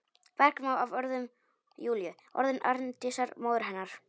Bergmál af orðum Júlíu, orðum Arndísar, móður hennar.